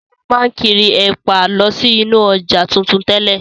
Sọlá máa n kiri ẹ̀pà lọ sí inú ọjà tuntun tẹ́lẹ̀.